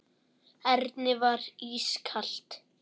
Erni var ískalt.